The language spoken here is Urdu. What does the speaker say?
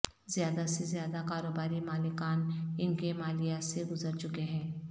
زیادہ سے زیادہ کاروباری مالکان ان کے مالیات سے گزر چکے ہیں